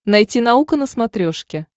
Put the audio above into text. найти наука на смотрешке